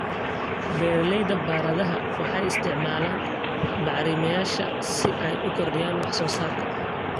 Beeralayda baradhada waxay isticmaalaan bacrimiyeyaasha si ay u kordhiyaan wax soo saarka.